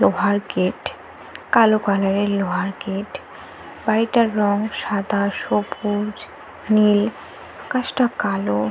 লোহার গেট । কালো কালার - এর লোহার গেট । বাড়িটার রং সাদা সবুজ নীল। আকাশটা কালো।